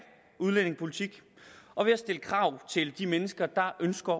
udlændingepolitik og ved at stille krav til de mennesker der ønsker